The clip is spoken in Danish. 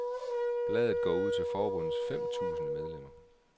Bladet går ud til forbundets fem tusinde medlemmer.